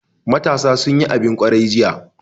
Matasa sun yi abin kwarai jiya.